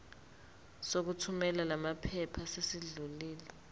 sokuthumela lamaphepha sesidlulile